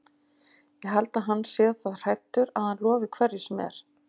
Ég held að hann sé það hræddur að hann lofi hverju sem er.